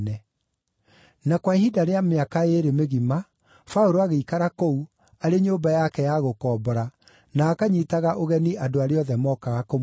Na kwa ihinda rĩa mĩaka ĩĩrĩ mĩgima, Paũlũ agĩikara kũu, arĩ nyũmba yake ya gũkombora, na akanyiitaga ũgeni andũ arĩa othe mokaga kũmuona.